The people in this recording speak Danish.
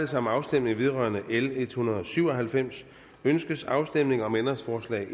sig om afstemning vedrørende lovforslag l en hundrede og syv og halvfems ønskes afstemning om ændringsforslag